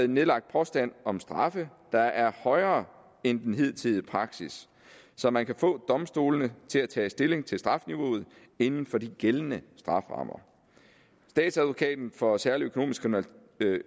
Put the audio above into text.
nedlagt påstand om straffe der er højere end den hidtidige praksis så man kan få domstolene til at tage stilling til strafniveauet inden for de gældende strafferammer statsadvokaten for særlig